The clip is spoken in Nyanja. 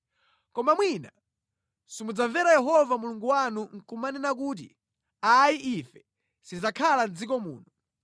“Koma mwina simudzamvera Yehova Mulungu wanu nʼkumanena kuti, ‘Ayi ife sitidzakhala mʼdziko muno,